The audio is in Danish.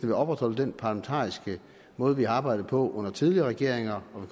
vil opretholde den parlamentariske måde vi har arbejdet på under tidligere regeringer og